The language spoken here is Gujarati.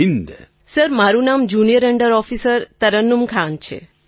તરન્નુમ ખાન સર મારું નામ junior under officer Tarannum Khan છે